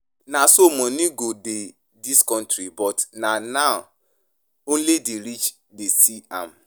Na so money go dey dis country but na na only the rich dey see am.